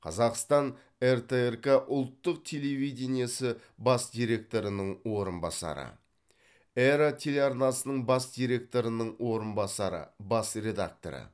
қазақстан ртрк ұлттық телевидениесі бас директорының орынбасары эра телеарнасының бас директорының орынбасары бас редакторы